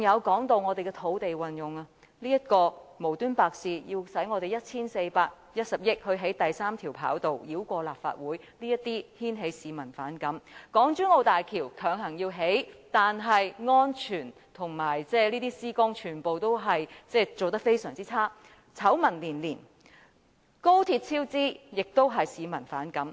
還有土地運用方面，政府無故花 1,410 億元興建第三條跑道，繞過立法會，這些都引起市民反感；港珠澳大橋強行興建，但安全和施工全部做得非常差劣，醜聞連連；高鐵超支也令市民反感。